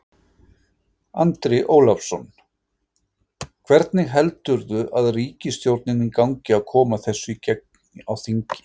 Andri Ólafsson: Hvernig heldurðu ríkisstjórninni gangi að koma þessu í gegn á þingi?